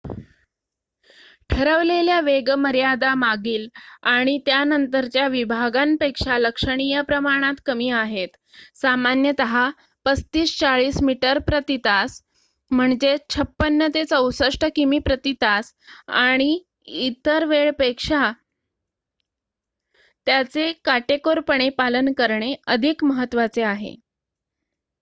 ठरवलेल्या वेगमर्यादा मागील आणि त्यानंतरच्या विभागांपेक्षा लक्षणीय प्रमाणात कमी आहेत — सामान्यतः ३५-४० मीटर प्रति तास ५६-६४ किमी/तास — आणि इतर वेळपेक्षा त्याचे काटेकोरपणे पालन करणे अधिक महत्त्वाचे आहे